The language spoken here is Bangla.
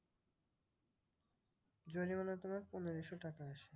জরিমানা তোমার পনেরোশো টাকা আসে।